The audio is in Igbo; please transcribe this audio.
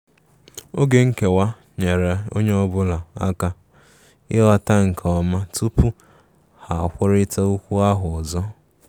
Oge nkewa nyeere ọnye ọbụla aka ighọta nke ọma tupu ha kwụrita okwu ahụ ọzọ.